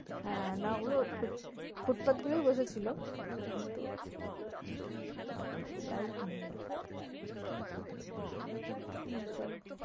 না ওগুলো foot path গুলোই বসেছিল কিন্তু light নেই আর ওইসব,